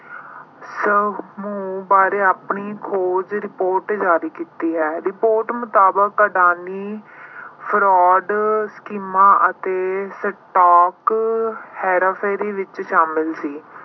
ਸਮੂਹ ਬਾਰੇ ਆਪਣੀ ਖੋਜ report ਜਾਰੀ ਕੀਤੀ ਹੈ। report ਮੁਤਾਬਕ ਅਡਾਨੀ fraud schemes ਅਤੇ stock ਹੇਰਾਫੇਰੀ ਵਿੱਚ ਸ਼ਾਮਲ ਸੀ।